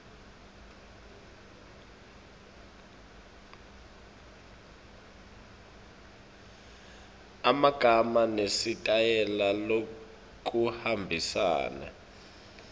emagama nesitayela lokuhambisana